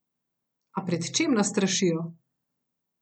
A pred čem nas strašijo?